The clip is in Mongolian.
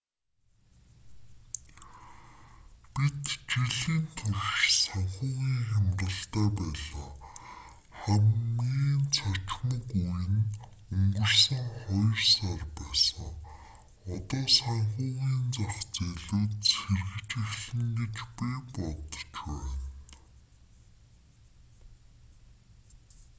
бид жилийн турш санхүүгийн хямралтай байлаа хамгийн цочмог үе нь өнгөрсөн хоёр сар байсан одоо санхүүгийн зах зээлүүд сэргэж эхэлнэ гэж би бодож байна